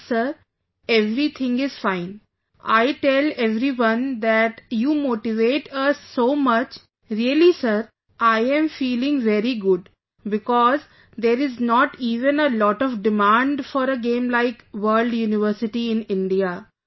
Yes sir, everything is fine, I tell everyone that you motivate us so much, really sir, I am feeling very good, because there is not even a lot of demand for a game like World University in India